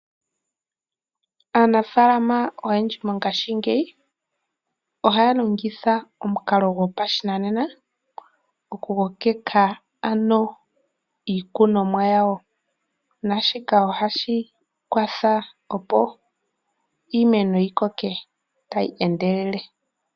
Aanafaalama oyendji mongashingeyi ohaya longitha omukalo gopashinanena oku kokeka iikunomwa yawo naashika ohashi kwathele opo iimeno yikoke tayi endelele.